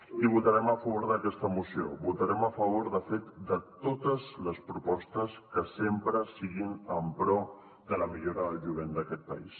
i votarem a favor d’aquesta moció votarem a favor de fet de totes les propostes que sempre siguin en pro de la millora del jovent d’aquest país